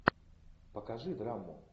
покажи драму